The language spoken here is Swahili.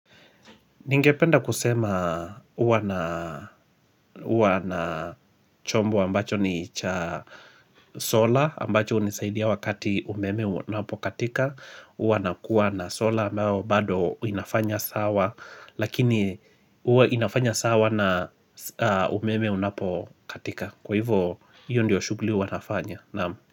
Ningependa kusema uwa na chombo ambacho ni cha. Sola, ambacho unisaidia wakati umeme unapokatika, uwa nakuwa na sola ambayo bado inafanya sawa, lakini uwa inafanya sawa na umeme unapokatika. Kwa hivo, hiyo ndiyo shugli uwa nafanya.